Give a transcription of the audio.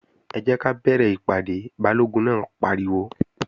Ẹ jẹ́ ká bẹ̀rẹ̀ ìpàdé! Balógun náà pariwo